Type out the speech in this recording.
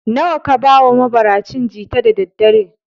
Nawa ka bawa mabaracin jita da daddare?